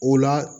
O la